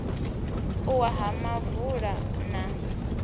u wa ha muvula na